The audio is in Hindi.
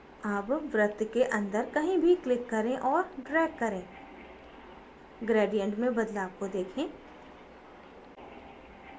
अब वृत्त के अंदर कहीं भी click करें और drag करें gradient में बदलाव को देखें